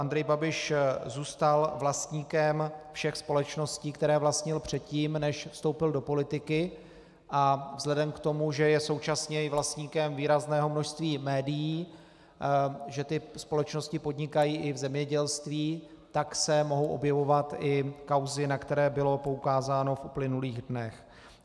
Andrej Babiš zůstal vlastníkem všech společností, které vlastnil předtím, než vstoupil do politiky, a vzhledem k tomu, že je současně i vlastníkem výrazného množství médií, že ty společnosti podnikají i v zemědělství, tak se mohou objevovat i kauzy, na které bylo poukázáno v uplynulých dnech.